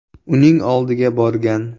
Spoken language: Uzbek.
uning oldiga borgan.